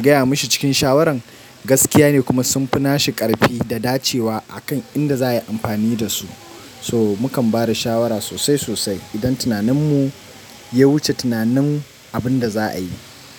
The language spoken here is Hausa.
gaya mashi cikin shawaran gaskiya ne kuma sunfi nashi ƙarfi da dacewa akan inda za a yi amfani dasu. So mukan bada shawara sosai sosai idan tunaninmu ya wuce tunanin abin da za a yi.